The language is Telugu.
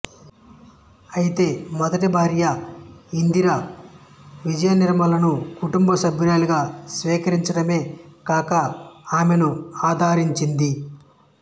అయితే మొదటి భార్య ఇందిర విజయనిర్మలను కుటుంబ సభ్యురాలిగా స్వీకరించడమే కాక ఆమెను ఆదరించింది